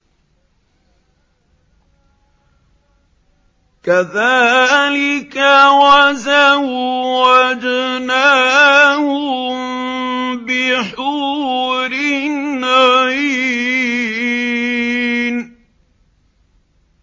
كَذَٰلِكَ وَزَوَّجْنَاهُم بِحُورٍ عِينٍ